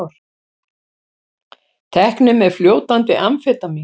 Teknir með fljótandi amfetamín